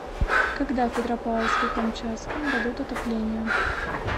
когда в петропавловске камчатском дадут отопление